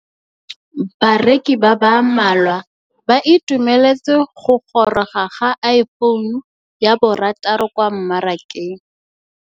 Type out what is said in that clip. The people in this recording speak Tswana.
Bareki ba ba malwa ba ituemeletse go gôrôga ga Iphone6 kwa mmarakeng.